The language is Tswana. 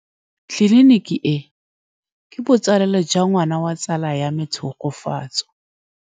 Tleliniki e, ke botsalêlô jwa ngwana wa tsala ya me Tshegofatso.